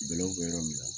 Bɛlɛw bɛ yɔrɔ min na